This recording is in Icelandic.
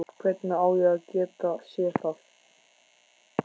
Hvernig á ég að geta séð það?